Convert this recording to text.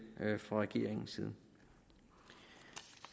fra regeringens side